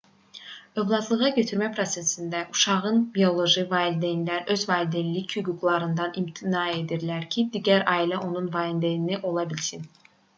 övladlığa götürmə prosesində uşağın bioloji valideynləri öz valideynlik hüquqlarından imtina edirlər ki digər ailə onun valideyni ola bilsin